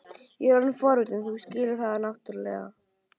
Ég er orðinn forvitinn, þú skilur það náttúrlega.